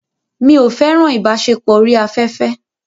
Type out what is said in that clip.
Mi ò fẹ́ràn ìbáṣepọ̀ orí afẹ́fẹ́.